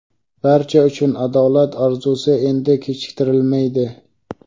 Barcha uchun adolat orzusi endi kechiktirilmaydi.